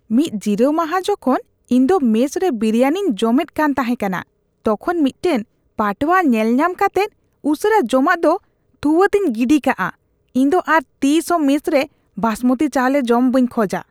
ᱢᱤᱫ ᱡᱤᱨᱟᱹᱣ ᱢᱟᱦᱟ ᱡᱚᱠᱷᱚᱱ ᱤᱧ ᱫᱚ ᱢᱮᱥ ᱨᱮ ᱵᱤᱨᱤᱭᱟᱱᱤᱧ ᱡᱚᱢᱮᱫ ᱠᱟᱱ ᱛᱟᱦᱮᱠᱟᱱᱟ, ᱛᱚᱠᱷᱚᱱ ᱢᱤᱫᱴᱟᱝ ᱯᱟᱴᱣᱟ ᱧᱮᱞ ᱧᱟᱢ ᱠᱟᱛᱮᱫ ᱩᱥᱟᱹᱨᱟ ᱡᱚᱢᱟᱜ ᱫᱚ ᱛᱷᱩᱣᱟᱛᱮᱧ ᱜᱤᱰᱤᱠᱟᱫᱼᱟ ᱾ ᱤᱧ ᱫᱚ ᱟᱨ ᱛᱤᱥ ᱦᱚᱸ ᱢᱮᱥ ᱨᱮ ᱵᱟᱥᱢᱚᱛᱤ ᱪᱟᱣᱞᱮ ᱡᱚᱢ ᱵᱟᱹᱧ ᱠᱷᱚᱡᱟ ᱾